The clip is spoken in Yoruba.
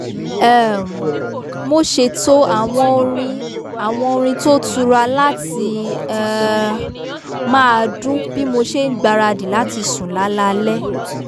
um mo ṣètò àwọ̀n orin àwọ̀n orin tó tura láti um máa dún bí mo ṣe n gbáradì láti sùn lálaalẹ́